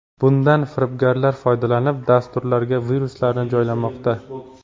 Bundan firibgarlar foydalanib, dasturlarga viruslarni joylamoqda.